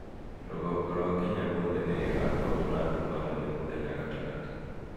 Rũgongo rwa Kenya guothe nĩ ĩgaakorũo na nduma nene mũthenya gatagatĩ.